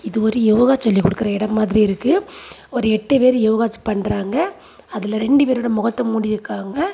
இது ஒரு யோகா சொல்லி குடுக்குற எடம் மாதிரி இருக்கு ஒரு எட்டு பேரு யோகா ச் பண்றாங்க அதுல ரெண்டு பேரோட மொகத்த மூடி இருக்காங்க.